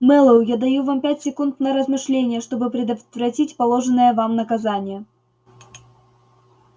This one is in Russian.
мэллоу я даю вам пять секунд на размышление чтобы предотвратить положенное вам наказание